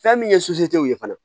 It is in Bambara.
Fɛn min ye ye fana